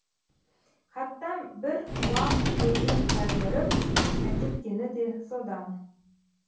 хаттан бір уақ көзін тайдырып әкеткені де содан